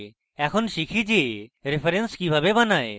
দেখো শিখি যে reference কিভাবে বানায়